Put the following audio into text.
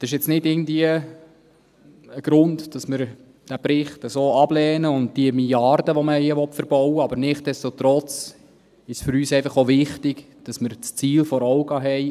Das ist jetzt nicht irgendwie ein Grund, dass wir den Bericht und die Milliarde, die man hier verbauen will, ablehnen, aber nichtsdestotrotz ist es für uns einfach auch wichtig, dass wir das Ziel vor Augen haben.